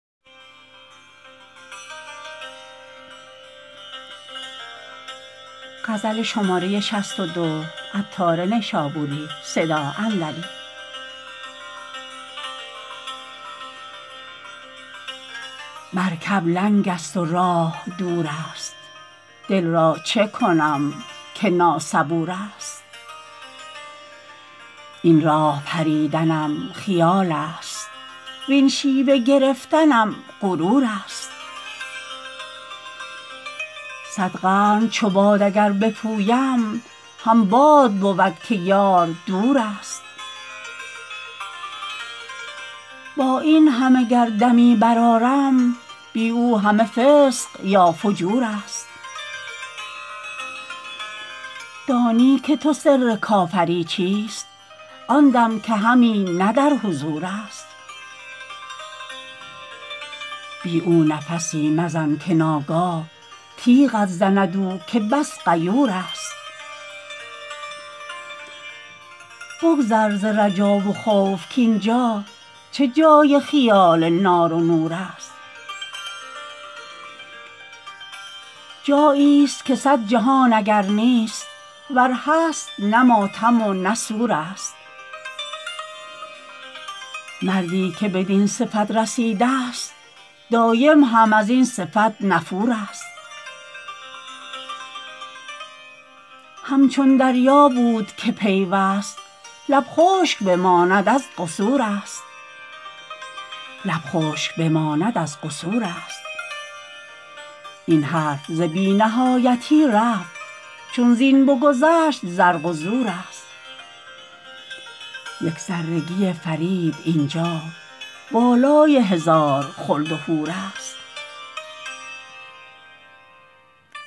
مرکب لنگ است و راه دور است دل را چکنم که ناصبور است این راه بریدنم خیال است وین شیوه گرفتنم غرور است صد قرن چو باد اگر بپویم هم باد بود که یار دور است با این همه گر دمی برآرم بی او همه فسق یا فجور است دانی تو که سر کافری چیست آن دم که همی نه در حضور است بی او نفسی مزن که ناگاه تیغت زند او که بس غیور است بگذر ز رجا و خوف کین جا چه جای خیال نار و نور است جایی است که صد جهان اگر نیست ور هست نه ماتم و نه سور است مردی که بدین صفت رسیده است دایم هم ازین صفت نفور است همچون دریا بود که پیوست لب خشک بماند از قصور است این حرف ز بی نهایتی رفت چون زین بگذشت زرق و زور است یک ذره گی فرید اینجا بالای هزار خلد و حور است